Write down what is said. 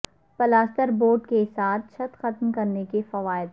plaster board کے ساتھ چھت ختم کرنے کے فوائد